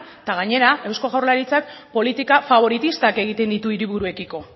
eta gainera eusko jaurlaritzak politika faboritistak egiten ditu hiriburuekiko